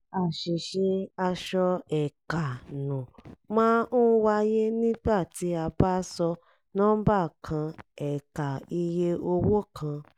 àṣìṣe asọ-ẹ̀ẹ̀kà-nù máa ń wáyé nígbà tí a bá sọ nọ́mbà kan ẹ̀ẹ̀kà iye owó kan